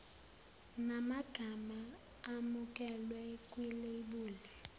namagama amukelwe kwilebuli